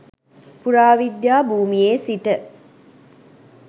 පුරාවිද්‍යා භූමියේ සිට